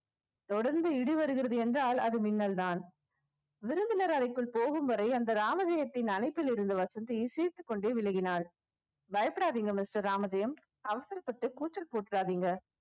தொடர்ந்து இடி வருகிறது என்றால் அது மின்னல்தான் விருந்தினர் அறைக்குள் போகும் வரை அந்த ராமஜெயத்தின் அணைப்பில் இருந்த வசந்தி சிரித்துக்கொண்டே விலகினாள் பயப்படாதீங்க mister ராமஜெயம் அவசரப்பட்டு கூச்சல் போட்டுறாதீங்க